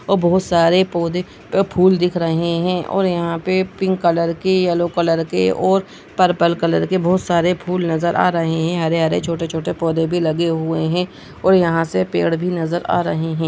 --और बहोत सारे पोधे व फूल दिख रहे है और यहा पे पिंक कलर के येलो कलर के और पर्पल कलर के बहोत सारे फुल नजर आ रहे है हरे-हरे छोटे-छोटे पोधे भी लगे हुए है और यहा से पेड़ भी नजर आ रहे है।